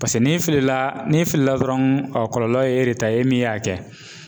Paseke n'i filila n'i filila dɔrɔn a kɔlɔlɔ ye e de ta ye e min y'a kɛ.